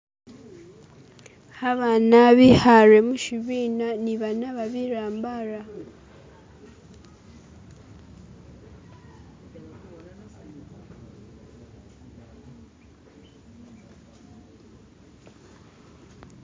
Abaana bikaale mushibina ni banaaba bitambala.